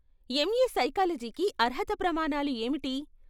MA సైకాలజీకి అర్హత ప్రమాణాలు ఏమిటి?